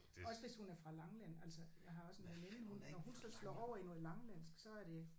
Også hvis hun er fra Langeland altså jeg har også en veninde hun når hun så slår over i nogen langelandsk så er det